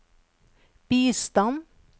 bistand